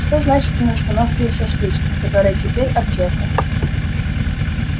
что значит на остановке у шашлычной которая теперь аптека